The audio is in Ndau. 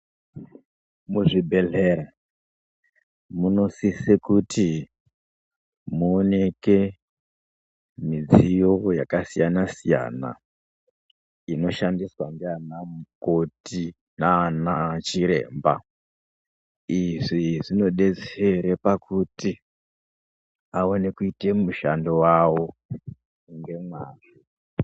Muzvibhedhlera munosisa kuti muoneke midziyo yakasiyana-siyana, inoshandiswa nana mukoti nanachiremba, izvi zvinodetsere pakuti awane kuyita mushando wavo ngemwazvo.